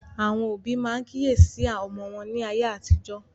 Àwọn òbí máa ń kíyèsí ọmọ wọn ní ayé àtijọ́